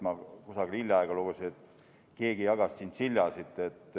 Ma hiljaaegu lugesin, et keegi jagas tšintšiljasid.